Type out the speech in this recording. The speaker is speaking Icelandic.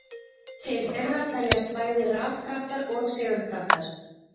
Til þeirra teljast bæði rafkraftar og segulkraftar.